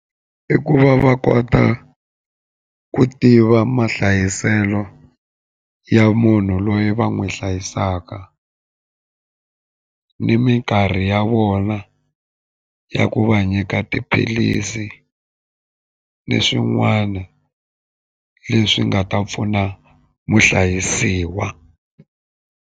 I ku va va kota ku tiva mahlayiselo ya munhu loyi va n'wi hlayisaka ni minkarhi ya vona yona ya ku va nyika tiphilisi ni swin'wana leswi nga ta pfuna muhlayisiwa.